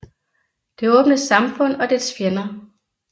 Det åbne samfund og dets fjender